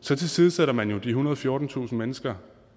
så tilsidesætter man jo de ethundrede og fjortentusind mennesker